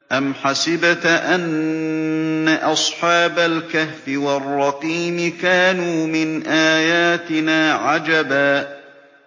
أَمْ حَسِبْتَ أَنَّ أَصْحَابَ الْكَهْفِ وَالرَّقِيمِ كَانُوا مِنْ آيَاتِنَا عَجَبًا